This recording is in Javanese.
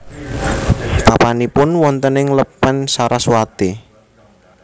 Papanipun wonten ing Lepen Saraswati